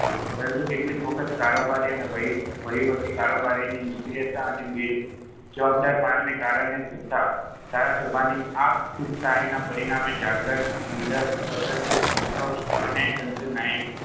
પરંતુ કેટલીક વખત કારોબારી અને વહી વહીવટી કારોબારીની નિષ્ક્રિયતા અને બેજ બેજવાબદારપણાના કારણે તથા ધારાસભાની આપખુદશાહીના પરિણામે જાગ્રત, નીડર, સ્વતંત્ર નિષ્પક્ષ એવા ન્યાયતંત્ર